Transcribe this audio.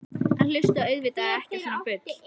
Hann hlustaði auðvitað ekki á svona bull.